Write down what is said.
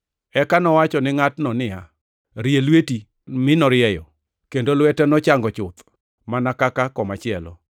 Eka nowachone ngʼatno niya, “Rie lweti,” mi norieye, kendo lwete nochango chuth, mana kaka komachielo.